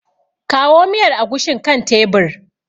Kawo miyar agushin kan tebir.